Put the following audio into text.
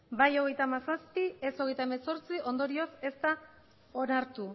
bai hogeita hamazazpi ez hogeita hemezortzi ondorioz ez da onartu